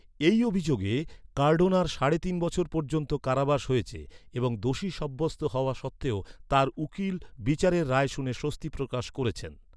এই অভিযোগে কার্ডোনার সাড়ে তিন বছর পর্যন্ত কারাবাস হয়েছে, এবং দোষী সাব্যস্ত হওয়া সত্ত্বেও তার উকিল বিচারের রায় শুনে স্বস্তি প্রকাশ করেছেন।